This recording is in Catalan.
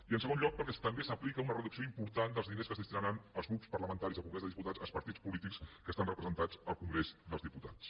i en segon lloc perquè també s’aplica una reducció important dels diners que es destinaran als grups parlamentaris del congrés dels diputats als partits polítics que estan representats al congrés dels diputats